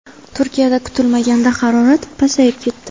Turkiyada kutilmaganda harorat pasayib ketdi.